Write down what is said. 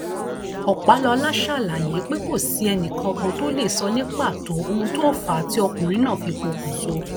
ọpàlọla ṣàlàyé pé kò sí ẹnìkankan tó lè sọ ní pàtó ohun tó fà á tí ọkùnrin náà fi pokùnso